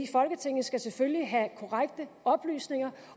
folketinget skal selvfølgelig have korrekte oplysninger